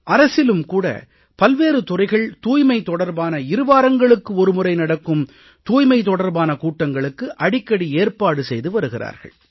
அரசிலும் கூட பல்வேறு துறைகள் தூய்மை தொடர்பான இருவாரங்களுக்கு ஒரு முறை நடக்கும் தூய்மை தொடர்பான கூட்டங்களுக்கு அடிக்கடி ஏற்பாடு செய்து வருகிறார்கள்